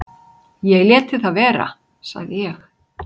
"""Ég léti það vera, sagði ég."""